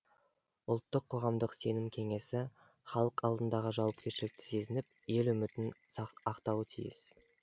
ұлттық қоғамдық сенім кеңесі халық алдындағы жауапкершілікті сезініп ел үмітін ақтауы тиіс